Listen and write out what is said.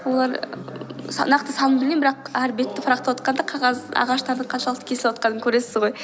олар нақты санын білмеймін бірақ әр бетті прақтавотқанда қағаз ағаштарды қаншалықты кесіліп отырғанын көресіз ғой